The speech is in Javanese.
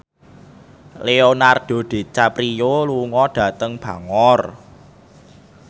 Leonardo DiCaprio lunga dhateng Bangor